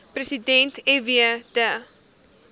president fw de